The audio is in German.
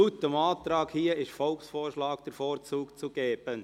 Laut dem Abänderungsantrag heisst es, «dem Volksvorschlag den Vorzug zu geben».